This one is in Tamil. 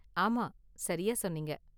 ஆமா, சரியா சொன்னீங்க.